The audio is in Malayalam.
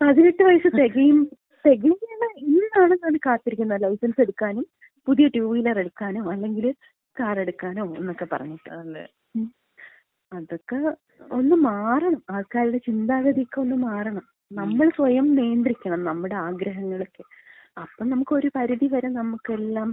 18 വയസ്സ് തികയുന്നതി, തികയുന്നത് ഇന്നാണെങ്കി അവര് കാത്തിരിക്കുന്നത് ലൈസൻസ് എടുക്കാനും പുതിയ ടൂവീലറെടുക്കാനോ അല്ലെങ്കി കാറെടുക്കാനോ എന്നൊക്കെ പറഞ്ഞിട്ട്. അതൊക്കെ ഒന്ന് മാറണം ആൾക്കാരുടെ ചിന്താഗതിക്ക ഒന്ന് മാറണം. നമ്മള് സ്വയം നിയന്ത്രിക്കണം. നമ്മുടെ ആഗ്രഹങ്ങളൊക്കെ, അപ്പം നമുക്കൊര് പരിധിവരെ നമുക്കെല്ലാം